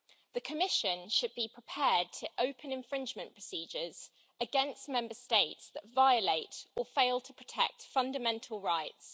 The Commission should be prepared to open infringement procedures against Member States that violate or fail to protect fundamental rights.